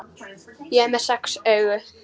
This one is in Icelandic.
Ég er með sex augu.